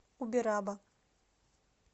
убераба